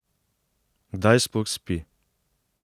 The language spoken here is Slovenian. Kdaj sploh spi?